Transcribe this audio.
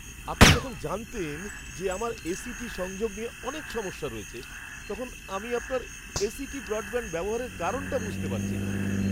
আপনি যখন জানতেন যে আমার এ.সি.টি সংযোগ নিয়ে অনেক সমস্যা রয়েছে, তখন আমি আপনার এ.সি.টি ব্রডব্যাণ্ড ব্যবহারের কারণটা বুঝতে পারছি না।